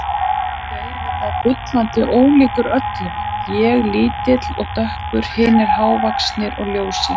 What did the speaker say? Svo var ég auðvitað bullandi ólíkur öllum, ég lítill og dökkur, hinir hávaxnir og ljósir.